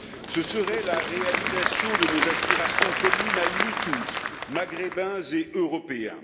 Ce serait la réalisation de nos aspirations communes à nous tous, Maghrébins et Européens.